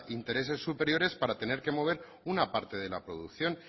intereses superiores para tener que mover una parte de la producción